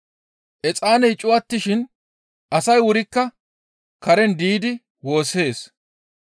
Exaaney cuwattishin asay wurikka karen diidi woossees.